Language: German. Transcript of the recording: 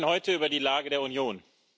Wir sprechen heute über die Lage der Union.